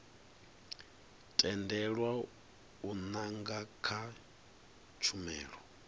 tendelwa u nanga kha tshumelo